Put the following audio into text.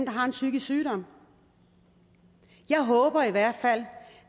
har en psykisk sygdom jeg håber i hvert fald